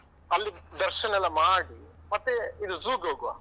ಅಲ್ಲಿ ದರ್ಶನ ಎಲ್ಲ ಮಾಡಿ, ಮತ್ತೆ ಇದು zoo ಗೆ ಹೋಗುವ.